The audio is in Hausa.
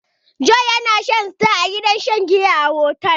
Jonh yana shan star a wurin shan giya a otel.